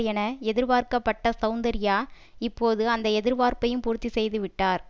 என எதிர்பார்க்கப்பட்ட சௌந்தர்யா இப்போது அந்த எதிர்பார்ப்பையும் பூர்த்தி செய்துவிட்டார்